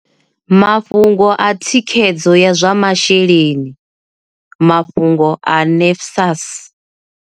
Mafhungo a thikhedzo ya zwa masheleni mafhungo a NSFAS.